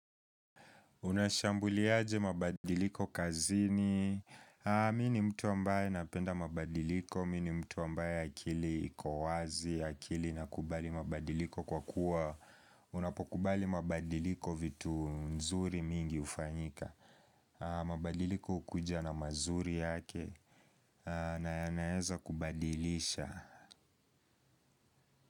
Unashambuliaje mabadiliko kazini. Mi ni mtu ambaye napenda mabadiliko. Mi ni mtu ambaye akili iko wazi, akili inakubali mabadiliko kwa kuwa. Unapokubali mabadiliko vitu nzuri mingi ufanyika. Mabadiliko hukuja na mazuri yake. Na yanaeza kubadilisha.